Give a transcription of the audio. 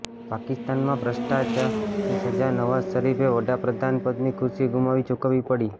પાકિસ્તાનમાં ભ્રષ્ટાચાની સજા નવાઝ શરીફે વડા પ્રધાનપદની ખુરશી ગુમાવી ચૂકવવી પડી